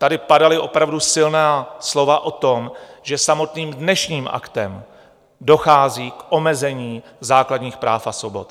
Tady padala opravdu silná slova o tom, že samotným dnešním aktem dochází k omezení základních práv a svobod.